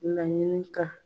Laɲini ka